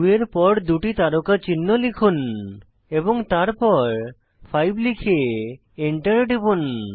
2 এর পর দুটি তারকা চিহ্ন লিখুন এবং তারপর 5 লিখে এন্টার টিপুন